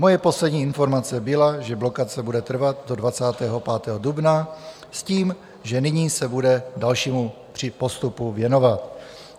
Moje poslední informace byla, že blokace bude trvat do 25. dubna s tím, že nyní se bude dalšímu postupu věnovat.